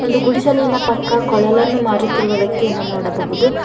ದು ಗುಡಿಸಲಿನ ಪಕ್ಕ ಕೊಳಲನ್ನು ಮಾರುತ್ತಿರುವ ವ್ಯಕ್ತಿಯನ್ನು ನೋಡಬಹುದು.